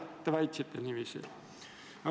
Te väitsite niiviisi.